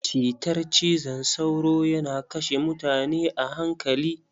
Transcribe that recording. Cytar cizon sauro yana kashe mutane a hankali.